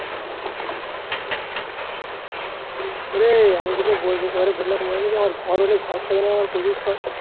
ওরে আমি তোকে বললাম মনে নেই আমার ঘর হলে ঘর সাজানোর আমার প্রচুর শখ।